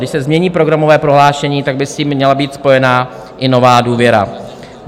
Když se změní programové prohlášení, tak by s tím měla být spojena i nová důvěra.